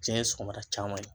Jiɲɛ ye sɔgɔmada caman ye.